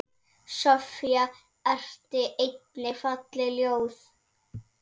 Soffía orti einnig falleg ljóð.